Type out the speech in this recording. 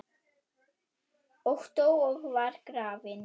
og dó og var grafinn